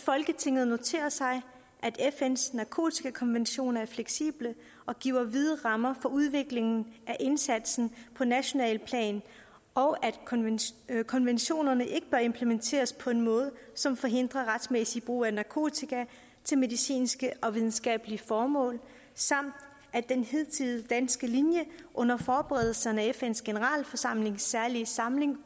folketinget noterer sig at fns narkotikakonventioner er fleksible og giver vide rammer for udviklingen af indsatsen på nationalt plan og at konventionerne ikke bør implementeres på en måde som forhindrer retmæssig brug af narkotika til medicinske og videnskabelige formål samt at den hidtidige danske linje under forberedelserne af fns generalforsamlings særlige samling